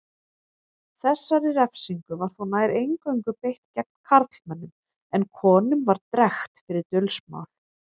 Þessari refsingu var þó nær eingöngu beitt gegn karlmönnum en konum var drekkt fyrir dulsmál.